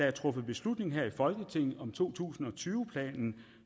er truffet beslutning her i folketinget om to tusind og tyve planen